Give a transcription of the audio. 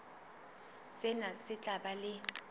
sena se tla ba le